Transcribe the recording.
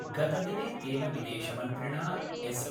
गतदिने तेन विदेशमन्त्रिणा एस .